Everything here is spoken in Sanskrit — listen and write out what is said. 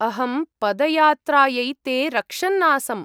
अहं पदयात्रायै ते रक्षन् आसम्।